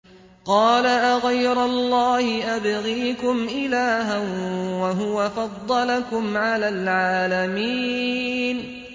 قَالَ أَغَيْرَ اللَّهِ أَبْغِيكُمْ إِلَٰهًا وَهُوَ فَضَّلَكُمْ عَلَى الْعَالَمِينَ